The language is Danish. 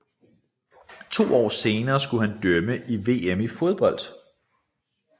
To år senere skulle han dømme i VM i fodbold